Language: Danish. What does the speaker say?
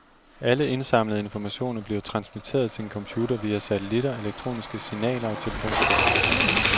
Alle indsamlede informationer bliver transmitteret til en computer via satelitter, elektroniske signaler og telefonkabler.